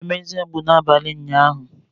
Enwere m eze mgbu n'abalị ụnyaahụ